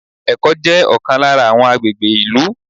Ẹ̀kọ́ jẹ́ ọ̀kan lára àwọn agbègbè ìlú.